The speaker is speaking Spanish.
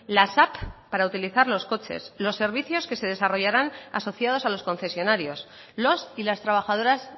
las app para utilizar los coches los servicios que se desarrollaran asociados a los concesionarios los y las trabajadoras